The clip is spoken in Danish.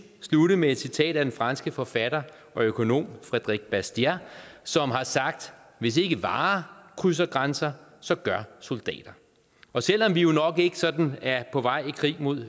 slutte med et citat af den franske forfatter og økonom frédéric bastiat som har sagt hvis ikke varer krydser grænser så gør soldater og selv om vi jo nok ikke sådan er på vej i krig mod